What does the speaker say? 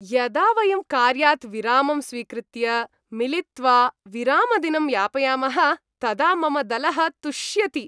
यदा वयं कार्यात् विरामं स्वीकृत्य, मिलित्वा विरामदिनं यापयामः तदा मम दलः तुष्यति।